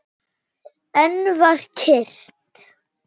Enn var kyrrt.